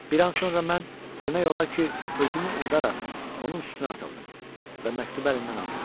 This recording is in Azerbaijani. Bir an sonra mən demək olar ki, özümü unudaraq onun üstünə atıldım və məktubu əlindən aldım.